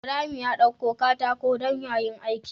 Ibrahim ya ɗauko katako dan yayi aiki